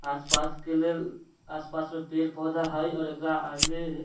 आसपास के लेल आसपास में पेड़-पौधा हई और एकरा आगे --